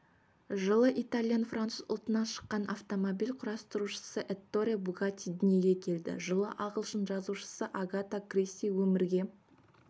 жылы итальян-француз ұлтынан шыққан автомобиль құрастырушы этторе бугатти дүниеге келді жылы ағылшын жазушысы агата кристи өмірге